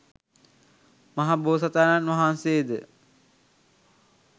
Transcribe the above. මහ බෝසතාණන් වහන්සේ ද